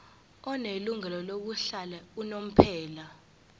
onelungelo lokuhlala unomphela